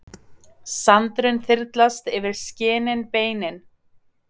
Sandurinn þyrlast yfir skinin beinin.